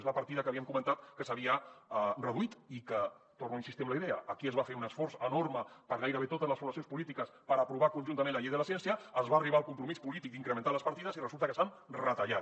és la partida que havíem comentat que s’havia reduït i que torno a insistir en la idea aquí es va fer un esforç enorme per gairebé totes les formacions polítiques per aprovar conjuntament la llei de la ciència es va arribar al compromís polític d’incrementar les partides i resulta que s’han retallat